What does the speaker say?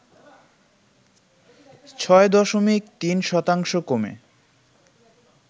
৬ দশমিক ৩ শতাংশ কমে